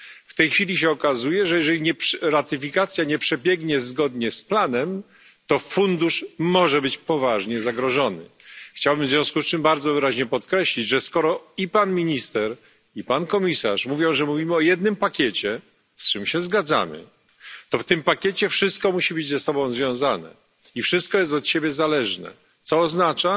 W tej chwili się okazuje, że jeżeli ratyfikacja nie przebiegnie zgodnie z planem, to fundusz może być poważnie zagrożony. Chciałbym w związku z tym bardzo wyraźnie podkreślić, że skoro i pan minister, i pan komisarz mówią, że mówimy o jednym pakiecie, z czym się zgadzamy, to w tym pakiecie wszystko musi być ze sobą związane i wszystko jest od siebie zależne, co oznacza,